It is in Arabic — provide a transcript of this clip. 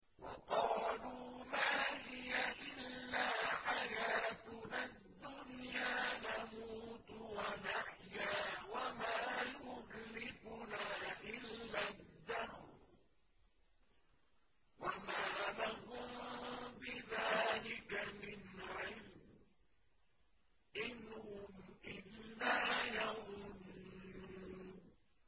وَقَالُوا مَا هِيَ إِلَّا حَيَاتُنَا الدُّنْيَا نَمُوتُ وَنَحْيَا وَمَا يُهْلِكُنَا إِلَّا الدَّهْرُ ۚ وَمَا لَهُم بِذَٰلِكَ مِنْ عِلْمٍ ۖ إِنْ هُمْ إِلَّا يَظُنُّونَ